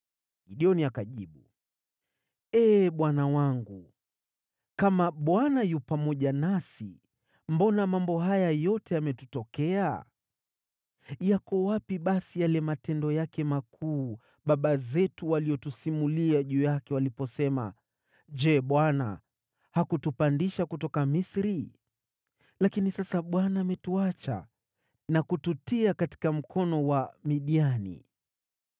Gideoni akajibu, “Ee Bwana wangu, kama Bwana yu pamoja nasi, mbona mambo haya yote yametutokea? Yako wapi basi yale matendo yake makuu baba zetu waliyotusimulia juu yake waliposema, ‘Je, Bwana hakutupandisha kutoka Misri?’ Lakini sasa Bwana ametuacha na kututia katika mkono wa Midiani.”